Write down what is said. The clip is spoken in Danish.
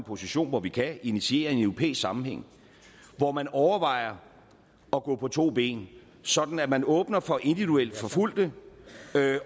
position hvor vi kan initiere en europæisk sammenhæng hvor man overvejer at gå på to ben sådan at man åbner for individuelt forfulgte